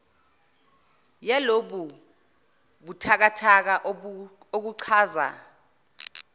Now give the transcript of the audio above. yalobu buthakathaka okuchaza